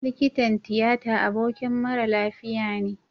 Likitan tiyata abokin mara lafiya ne